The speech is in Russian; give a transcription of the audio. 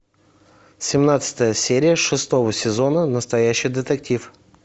семнадцатая серия шестого сезона настоящий детектив